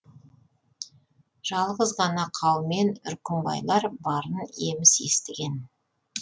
жалғыз ғана қаумен үркімбайлар барын еміс естіген